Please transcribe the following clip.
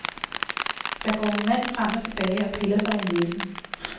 Der går en mand frem og tilbage og piller sig i næsen.